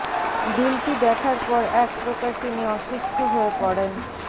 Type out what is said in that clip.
বিলটি দেখার পর এক প্রকার তিনি অসুস্থ হয়ে পড়েন